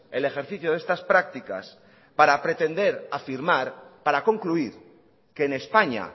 el ejercicio de estas prácticas para pretender afirmar para concluir que en españa